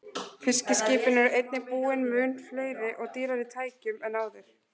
Fiskiskipin eru einnig búin mun fleiri og dýrari tækjum en áður.